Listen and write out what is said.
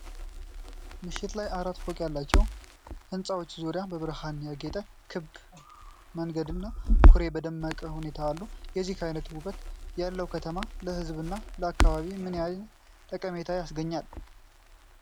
ምሽት ላይ አራት ፎቅ ያላቸው ሕንፃዎች ዙሪያውን በብርሃን ያጌጠ ክብ መንገድና ኩሬ በደመቀ ሁኔታ አሉ። የዚህ ዓይነት ውበት ያለው ከተማ ለሕዝብና ለአካባቢው ምን ዓይነት ጥቅም ያስገኛል?